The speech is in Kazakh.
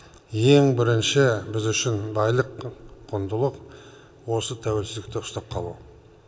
ең бірінші біз үшін байлық құндылық осы тәуелсіздікті ұстап қалу